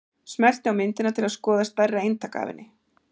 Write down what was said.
Smelltu á myndina til að skoða stærra eintak af henni.